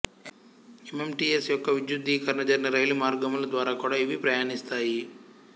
MMTS యొక్క విద్యుద్దీకరణ జరిగిన రైలు మార్గముల ద్వారా కూడా ఇవి ప్రయాణిస్తాయి